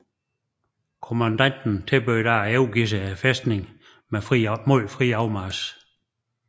Kommandanten tilbød da at overgive fæstningen mod fri afmarch